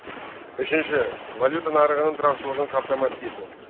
үшінші валюта нарығының тұрақтылығын қамтамасыз ету